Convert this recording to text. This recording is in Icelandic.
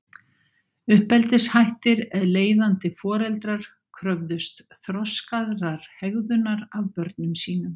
Uppeldishættir Leiðandi foreldrar kröfðust þroskaðrar hegðunar af börnum sínum.